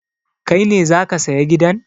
Kai ne za ka saya gidan?